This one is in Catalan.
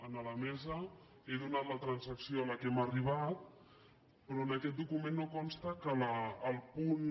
a la mesa he donat la transacció a què hem arribat però en aquest document no cons·ta que el punt